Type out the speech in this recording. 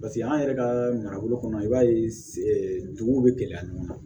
Paseke an yɛrɛ ka marabolo kɔnɔ i b'a ye duguw bɛ gɛlɛya ɲɔgɔn na